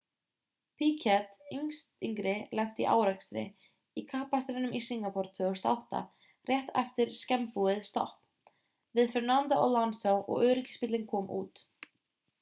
piquet yngri lenti í árekstri í kappakstrinum í singapore 2008 rétt eftir snemmbúið stopp við fernando alonso og öryggisbíllinn kom út